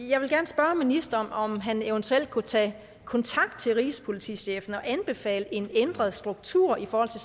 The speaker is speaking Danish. jeg vil gerne spørge ministeren om han eventuelt kunne tage kontakt til rigspolitichefen og anbefale en ændret struktur i forhold